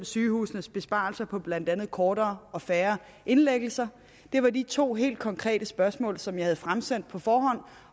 sygehusenes besparelser på blandt andet kortere og færre indlæggelser det var de to helt konkrete spørgsmål som jeg havde fremsendt på forhånd